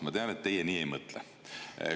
Ma tean, et teie nii ei mõtle.